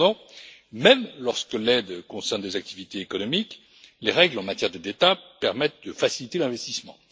Cependant, même lorsque l'aide concerne des activités économiques, les règles relatives aux aides d'État permettent de faciliter l'investissement.